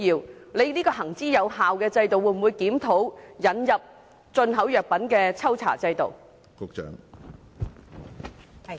局方會否檢討這項行之有效的制度，引入進口藥品的抽查制度？